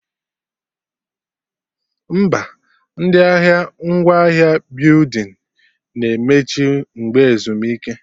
Mba, ndị ahịa ngwaahịa building na-emechi mgbe ezumike